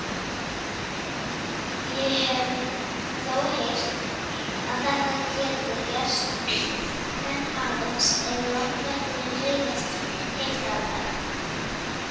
Ég hef þó heyrt að þetta geti gerst en aðeins ef landvættirnar reiðast heiftarlega